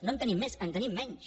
no en tenim més en tenim menys